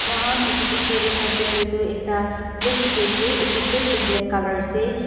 mokan etu picture de saishae koilae tu ekta plate diki ase etu plate tu black color ase.